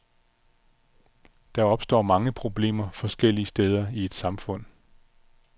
Der opstår mange problemer forskellige steder i et samfund.